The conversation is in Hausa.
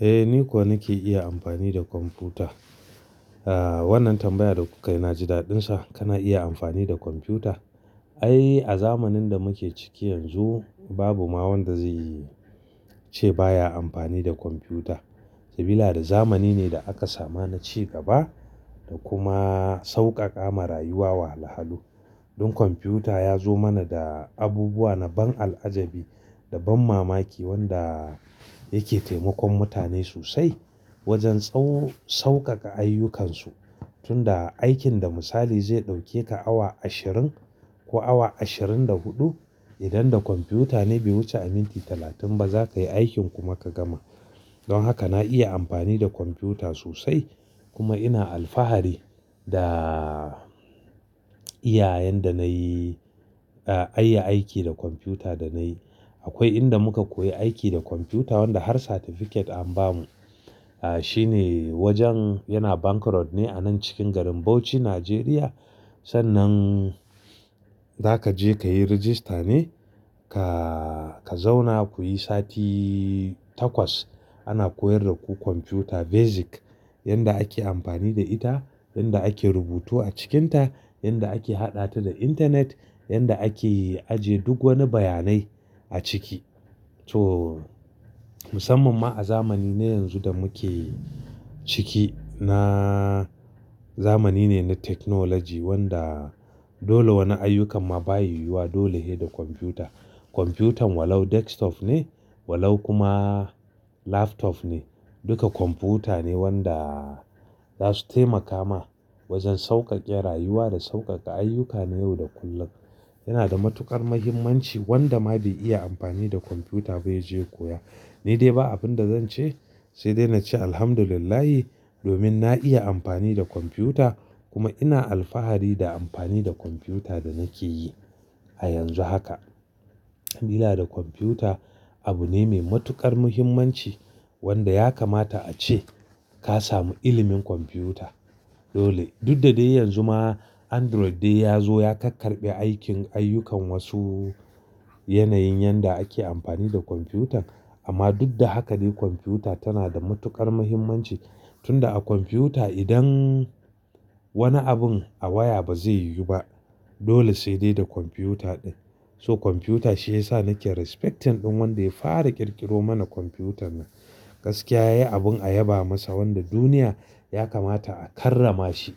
Eh, ni ko nake iya amfani da kwamfuta. Ah, wannan tambaya da kuka yi na ji daɗin sa. Kana iya amfani da kwamfuta? Ai, a zamanin da muke ciki yanzu babu ma wanda zai yi, ce baya amfani da kwamfuta. Sabida zamani ne da aka samu na ci gaba da kuma sauƙaƙa ma rayuwa wahala. Don kwamfuta ya zo mana da abubuwa na ban al'ajabi da ban mamaki wanda yake taimakon mutane sosai wajen tsau-- sauƙaƙa ayyukansu. Tun da aikin da misali zai ɗauke ka awa ashirin ko awa ashirin da huɗu, idan da kwamfuta ne bai wuce a minti talatin ba zakayi aikin kuma ka gama. Don haka na iya amfani da kwamfuta sosai kuma ina alfahari da iyayen da nayi, ah, ayi aiki da kwamfuta danayi. Akwai inda muka koyi aiki da kwamfuta wanda har certificate an bamu. Ah, shine wajen yana Bank Road ne a nan cikin garin Bauchi, Nigeria. Sannan za ka je ka yi rajista ne ka, ka zauna kuyi sati takwas. Ana koyar da ku kwamfuta basic yanda ake amfani da ita, yanda ake rubutu a cikinta, yanda ake haɗa ta da intanet, yanda ake ajiye duk wani bayanai a ciki. So, musamman ma a zamanin ne yanzu da muke ciki na zamani ne na technology wanda dole wani ayyukan ma baya yiwuwa dole sai da kwamfuta. Kwamfutan walau desktop ne walau kuma laptop ne, duka kwamfuta ne wanda za su taimaka ma wajen sauƙaƙe rayuwa da sauƙaƙa ayyuka na yau da kullum. Yana da matuƙar muhimmanci wanda ma bai iya amfani da kwamfuta ba ya je ya koya. Ni dai ba abin da zance sai dai nace Alhamdulillah domin na iya amfani da kwamfuta kuma ina alfahari da amfani da kwamfuta da nake yi a yanzu haka. Sabida kwamfuta abu ne mai matuƙar muhimmanci wanda ya kamata a ce ka samu ilimin kwamfuta. Dole. Dudda dai yanzu ma Android dai ya zo ya karkarɓe aikin ayyukan wasu yanayin yanda ake amfani da kwamfutan. Amma duddaka dai kwamfuta tana da matuƙar muhimmanci. Tun da a kwamfuta idan wani abin a waya ba zai yiwu ba. Dole sai dai da kwamfuta din. So kwamfuta shi yasa nake respecting din wanda ya fara ƙirƙiro mana kwamfutan nan. Gaskiya yayi abin a yaba masa wanda duniya ya kamata a karrama shi.